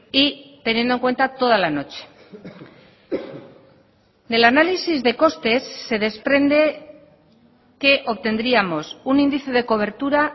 y teniendo en cuenta toda la noche del análisis de costes se desprende que obtendríamos un índice de cobertura